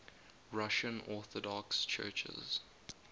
russian orthodox churches